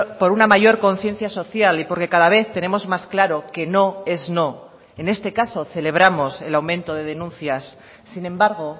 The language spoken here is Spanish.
por una mayor conciencia social y porque cada vez tenemos más claro que no es no en este caso celebramos el aumento de denuncias sin embargo